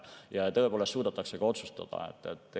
Ja et tõepoolest suudetaks ka otsustada.